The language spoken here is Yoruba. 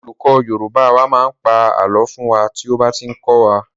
Our Yoruba teacher tells us myths when he is teaching us.